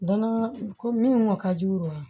Danaya ko min ŋɔn ka di o ye